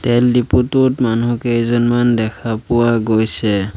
তেল ডিপুটোত মানুহ কেইজনমান দেখা পোৱা গৈছে।